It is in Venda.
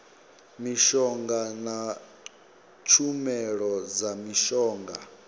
mishonga na tshumelo dza mishonga